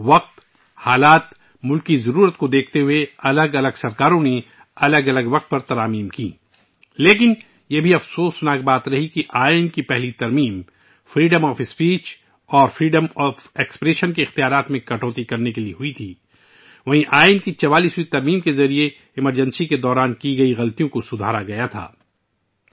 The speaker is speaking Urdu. وقت، حالات اور ملک کے تقاضوں کے مطابق مختلف حکومتوں نے مختلف اوقات میں ترامیم کیں لیکن یہ بھی ایک بدقسمتی رہی ہے کہ آئین کی پہلی ترمیم تقریر اور اظہارِ رائے کی آزادی کو ختم کرنے سے متعلق تھی ، جب کہ 44ویں ترمیم کے ذریعے ایمرجنسی کے دوران سرزد ہونے والی غلطیاں درست کر دی گئیں